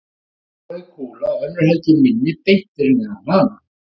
Á henni var rauð kúla og önnur heldur minni beint fyrir neðan hana.